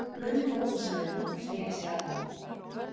Ó, guð minn góður sagði hún og sneri sér að honum.